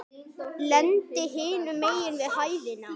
Lendi hinum megin við hæðina.